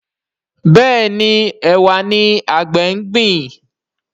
Béèni Ẹwà ní àgbè ngbin.